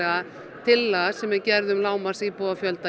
tillaga sem er gerð um lágmarksíbúafjölda í